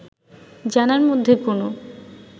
জানার মধ্যে কোনো